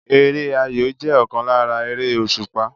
Eré ayò jẹ́ ọ̀kan lára eré òsùpá